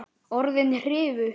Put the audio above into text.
Orðin hrifu.